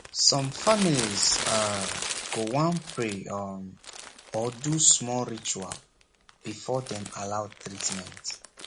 some families um go want pray um or do small ritual before dem allow treatment